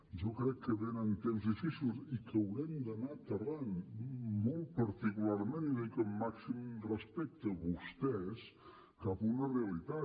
jo crec que venen temps difícils i que haurem d’anar aterrant molt particularment i ho dic amb màxim respecte vostès cap a una realitat